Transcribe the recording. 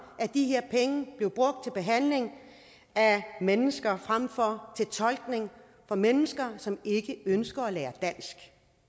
at de her penge blev brugt til behandling af mennesker fremfor til tolkning for mennesker som ikke ønsker at lære dansk